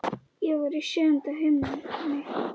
Ég var í sjöunda himni.